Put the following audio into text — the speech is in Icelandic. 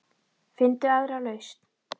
Finndu aðra lausn.